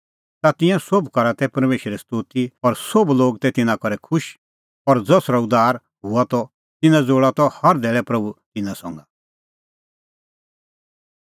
ता तिंयां सोभ करा तै परमेशरे स्तोती और सोभ लोग तै तिन्नां करै खुश और ज़सरअ उद्धार हआ त तिन्नां ज़ोल़ा त हर धैल़ै प्रभू तिन्नां संघै